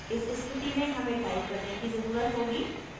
इस स्थिति में हमें type करने की ज़रुरत होगी: